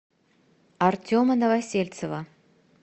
артема новосельцева